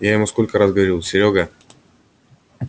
я ему сколько раз говорил серёга